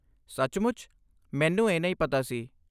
ਸੱਚਮੁੱਚ? ਮੈਨੂੰ ਇਹ ਨਹੀਂ ਪਤਾ ਸੀ!